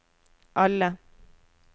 alle